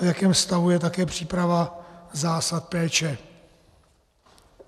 A v jakém stavu je také příprava zásad péče?